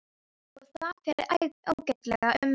Og það fer ágætlega um mig.